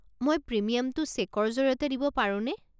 মই প্ৰিমিয়ামটো চেকৰ জৰিয়তে দিব পাৰোনে?